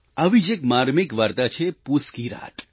આવી જ એક માર્મિક વાર્તા છે પૂસ કી રાત